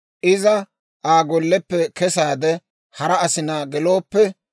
iza Aa golleppe kesaade, hara asinaa gelooppe,